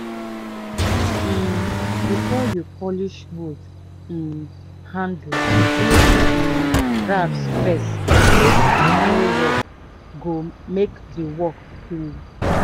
um before you polish wood um handle use um rasp first make e no roughe go make di work clean